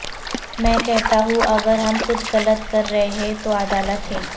میں کہتا ہوں اگر ہم کچھ غلط کر رہے ہیں تو عدالت ہے